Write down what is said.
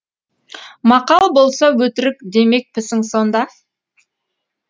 мақал болса өтірік демекпісің сонда